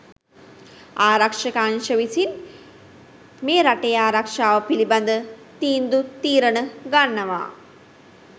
ආරක්ෂක අංශ විසින් මේ රටේ ආරක්ෂාව පිළිබඳ තීන්දු තීරණ ගන්නවා.